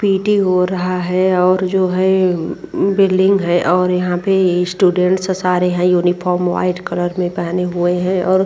P T हो रहा है और जो है बिल्डिंग है और यहां पे स्टूडेंट सारे हैं। यूनिफॉर्म व्हाइट कलर मे पहने हुए हैं और --